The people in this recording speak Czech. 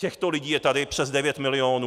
Těchto lidí je tady přes 9 milionů.